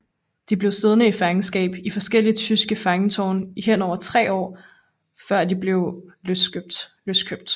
De blev siddende i fangenskab i forskellige tyske fangetårne i henved tre år før de blev løskøbt